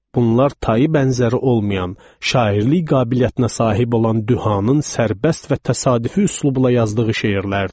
Bunlar tayı bərabəri olmayan şairlik qabiliyyətinə sahib olan Duhanın sərbəst və təsadüfi üslubla yazdığı şeirlərdir.